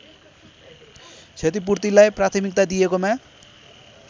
क्षतिपूर्तिलाई प्राथमिकता दिएकोमा